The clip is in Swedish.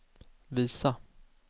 visa